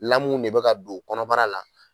Lamuw ne be ka don kɔnɔbara la